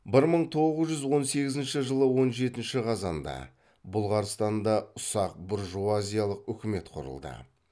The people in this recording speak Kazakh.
бір мың тоғыз жүз он сегізінші жылы он жетінші қазанда бұлғарстанда ұсақ буржуазиялық үкімет құрылды